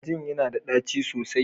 Flagyl yana da ɗaci sosai.